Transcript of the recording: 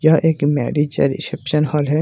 यह एक मैरिज और रिसेप्शन हॉल है।